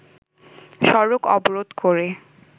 সড়ক অবরোধ করে